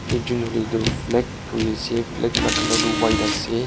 ekjun hoilae tu flag dhuri ase flag la colour tu white ase.